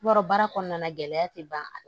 Yɔrɔ baara kɔnɔna na gɛlɛya tɛ ban a